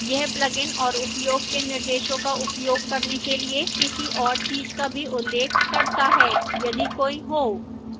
यह plugin और उपयोग के निर्देशों का उपयोग करने के लिए किसी और चीज का भी उल्लेख करता है यदि कोई हो